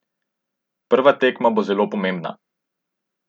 Prva tekma bo zelo pomembna.